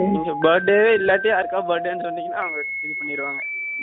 இங்க birthday இல்லாட்டி யாருக்காவது birthday சொன்னிங்கன்னா அவங்க இது பண்ணிடுவாங்க